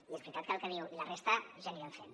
i és veritat el que diu i la resta ja anirem fent